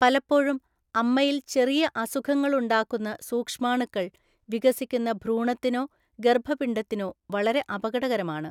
പലപ്പോഴും, അമ്മയിൽ ചെറിയ അസുഖങ്ങൾ ഉണ്ടാക്കുന്ന സൂക്ഷ്മാണുക്കൾ, വികസിക്കുന്ന ഭ്രൂണത്തിനോ ഗര്‍ഭപിണ്ഡത്തിനോ വളരെ അപകടകരമാണ്.